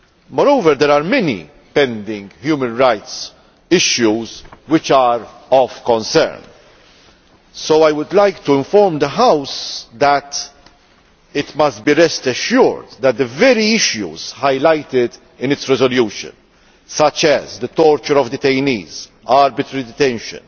Moreover, there are many pending human rights issues which are of concern. So I would like to inform the House that it must rest assured that the very issues highlighted in its resolution, such as the torture of detainees, arbitrary detention,